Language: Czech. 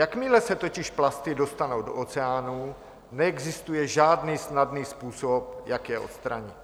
Jakmile se totiž plasty dostanou do oceánů, neexistuje žádný snadný způsob, jak je odstranit.